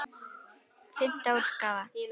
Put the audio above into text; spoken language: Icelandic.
Fimmta útgáfa.